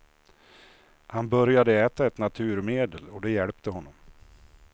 Han började äta ett naturmedel och det hjälpte honom.